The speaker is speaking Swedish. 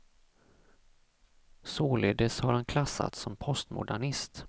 Således har han klassats som postmodernist.